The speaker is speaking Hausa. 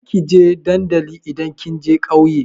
Kar ki je dandali idan kin je ƙauye!